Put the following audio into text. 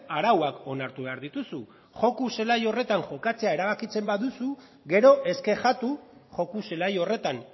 arauak onartu behar dituzu joko zelai horretan jokatzea erabakitzen baduzu gero ez kexatu joko zelai horretan